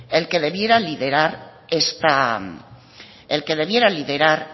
el que debiera liderar